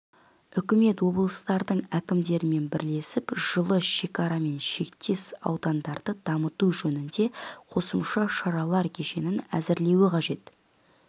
үкімет облыстардың әкімдерімен бірлесіп жылы шекарамен шектес аудандарды дамыту жөнінде қосымша шаралар кешенін әзірлеуі қажет